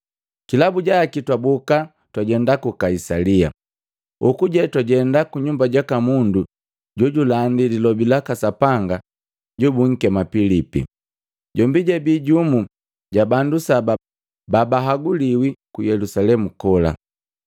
Kilabu jaki twaboka twajenda ku Kaisalia. Hoku je twajenda kunyumba jaka mundu jojulandi lilobi laka Sapanga jobunkema Pilipi. Jombi jabii jumu ja bandu saba babahaguliwi ku Yelusalemu kola.